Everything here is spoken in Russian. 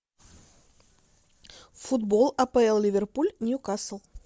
футбол апл ливерпуль ньюкасл